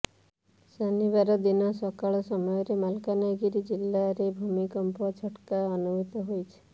ଶନିବାର ଦିନ ସକାର ସମୟରେ ମାଲକାନଗିରି ଜିଲ୍ଲାରେ ଭୂମିକମ୍ପ ଝଟକା ଅନୁଭୂତ ହୋଇଛି